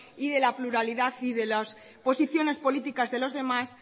y de la pluralidad y de las posiciones políticas de los demás